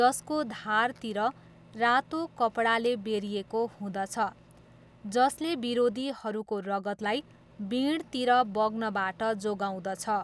जसको धारतिर रातो कपडाले बेरिएको हुँदछ जसले विरोधीहरूको रगतलाई बिँडतिर बग्नबाट जोगाउँदछ।